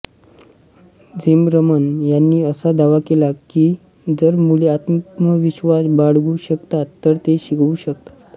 Zimmerman यांनी असा दावा केला की जर मुले आत्मविश्वास बाळगू शकतात तर ते शिकू शकतात